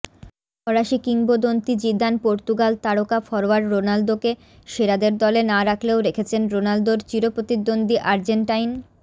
ফরাসী কিংবদন্তি Zidane Portugal তারকা ফরোয়ার্ড রোনালদোকে সেরাদের দলে না রাখলেও রেখেছেন রোনালদোর চিরপ্রতিদ্বন্দ্বী আর্জেন্টাইন